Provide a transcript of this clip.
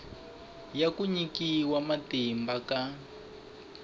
ya ku nyikiwa matimba ka